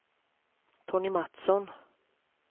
Tony Matsson